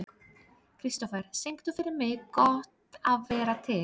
Kristofer, syngdu fyrir mig „Gott að vera til“.